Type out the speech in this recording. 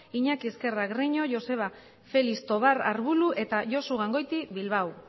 iñaki ezkerra greño joseba felix tobar arbulu eta josu gangoiti bilbao